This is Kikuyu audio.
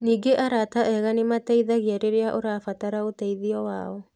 Ningĩ arata ega nĩ mateithagia rĩrĩa ũrabatara ũteithio wao.